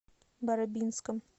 барабинском